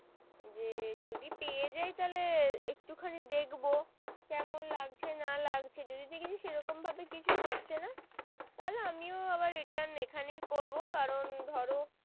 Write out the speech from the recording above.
যে যদি পেয়ে যাই তাহলে একটু খানি দেখবো কেমন লাগছে না লাগছে যদি দেখি সেরকম ভাবে কিছুই হচ্ছে না তাহলে আমিও আবার return এখনই করবো কারণ ধরো